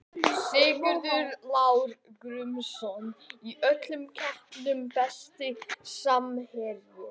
Sigurður Lár Gunnarsson í öllum keppnum Besti samherjinn?